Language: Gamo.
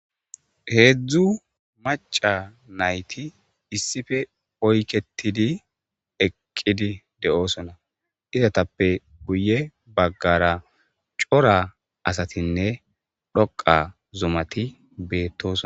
Hezzu macca nayththi issippe oyqettidi eqqidi deo'ssonna izzathappe guye bagara cora assathinne dhoqa zumathi bethossona.